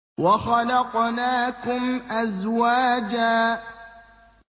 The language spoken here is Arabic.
وَخَلَقْنَاكُمْ أَزْوَاجًا